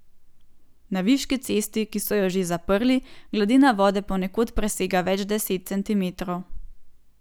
Na Viški cesti, ki so jo že zaprli, gladina vode ponekod presega več deset centimetrov.